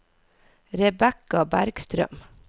Rebecca Bergstrøm